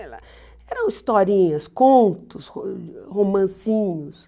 Eram historinhas, contos, ro romancinhos.